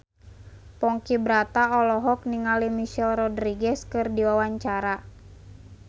Ponky Brata olohok ningali Michelle Rodriguez keur diwawancara